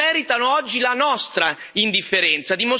Non meritano oggi la nostra indifferenza.